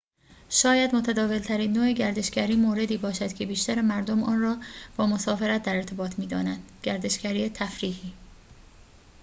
شاید متداول‌ترین نوع گردشگری موردی باشد که بیشتر مردم آن را با مسافرت در ارتباط می‌دانند گردشگری تفریحی